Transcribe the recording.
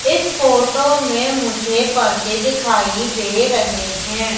इस फोटो में मुझे पर्दे दिखाई दे रहे हैं।